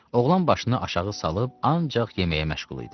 Oğlan başını aşağı salıb ancaq yeməyə məşğul idi.